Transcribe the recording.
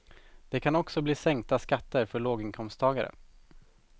Det kan också bli sänkta skatter för låginkomsttagare.